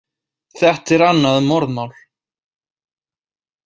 Þetta er annað morðmál.